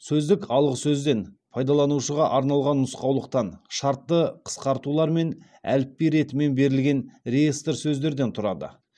сөздік алғы сөзден пайдаланушыға арналған нұсқаулықтан шартты қысқартулар мен әліпби ретімен берілген реестр сөздерден тұрады